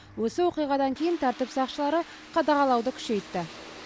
осы оқиғадан кейін тәртіп сақшылары қадағалауды күшейтті